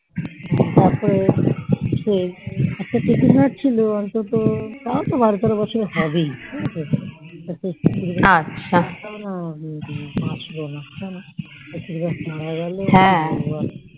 আর তো সেই আর তো কুকুর ছিল অন্তত তা তো বারো তেরো বছর হবেই কিন্তু কুকুর টা না বাঁচলো না কুকুর তা মারা গেল